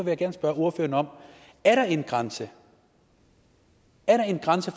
jeg gerne spørge ordføreren er der en grænse er der en grænse